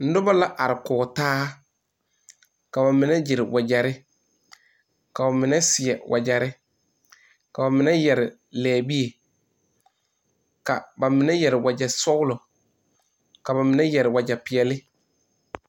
Noba la are kɔge taa ka ba mine gyere wagyɛre ka ba mine seɛ wagyɛre ka ba mine yɛre lɛbie ka ba mine yɛre wagyɛsɔgla ka ba mine yɛre wagyɛpeɛle.